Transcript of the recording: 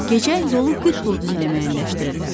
Gecə yolu qütb ulduzu ilə məyənləşdirirlər.